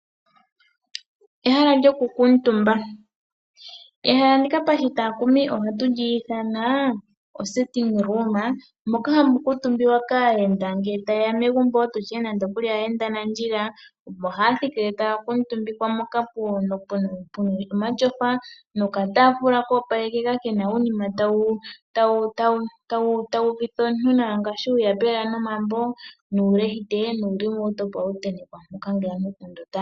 Ehala lyokukutumba, ehala ndika pashitakumi ohatu lyithana osting room, moka hamukutumbiwa kayenda ngele tayeya megumbo tutye nande ayenda nandjila, oha thikile takutumbikwa moka puna omatyofa noka tafula kopalekeka kena unima tawuvitha omuntu nawa ngashi uuyapela nomambo nuulahite nulalelo opo hawu tetekwa poka ngele aantu otali.